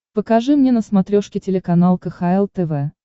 покажи мне на смотрешке телеканал кхл тв